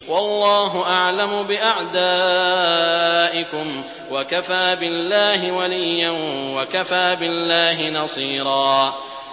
وَاللَّهُ أَعْلَمُ بِأَعْدَائِكُمْ ۚ وَكَفَىٰ بِاللَّهِ وَلِيًّا وَكَفَىٰ بِاللَّهِ نَصِيرًا